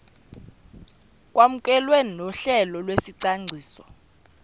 kwamkelwe nohlelo lwesicwangciso